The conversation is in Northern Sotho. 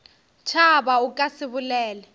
tšhaba o ka se bolele